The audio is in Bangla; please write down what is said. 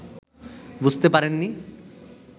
বুঝতে পারেননি